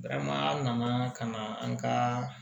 Barama nana ka na an ka